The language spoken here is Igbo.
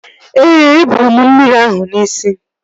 Ee, e bụrụ m mmiri ahụ n'isi m